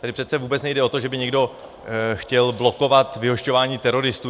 Tady přece vůbec nejde o to, že by někdo chtěl blokovat vyhošťování teroristů.